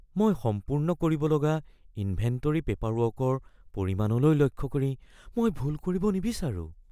মই সম্পূৰ্ণ কৰিব লগা ইনভেণ্টৰী পেপাৰৱৰ্কৰ পৰিমাণলৈ লক্ষ্য কৰি মই ভুল কৰিব নিবিচাৰোঁ।